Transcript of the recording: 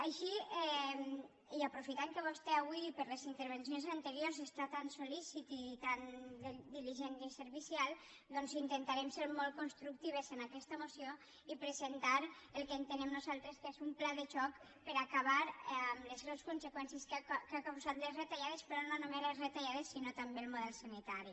així i aprofitant que vostè avui per les intervencions anteriors està tan sol·lícit i tan diligent i servicial doncs intentarem ser molt constructives en aquesta moció i presentar el que entenem nosaltres que és un pla de xoc per acabar amb les greus conseqüències que han causat les retallades però no només les retallades sinó també el model sanitari